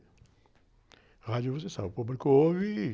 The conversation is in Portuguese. A rádio você sabe, o público ouve, e...